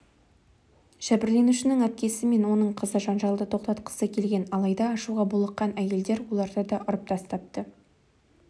жәбірленушінің әпкесі мен оның қызы жанжалды тоқтатқысы келген алайда ашуға булыққан әйелдер оларды да ұрып тастапты